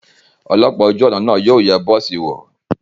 Ọlọ́pàá ojú ọ̀nà náà yóò yẹ bọ́ọ̀sì wò.